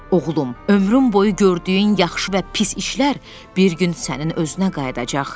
Oğlum, ömrün boyu gördüyün yaxşı və pis işlər bir gün sənin özünə qayıdacaq.